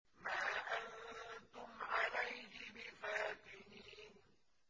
مَا أَنتُمْ عَلَيْهِ بِفَاتِنِينَ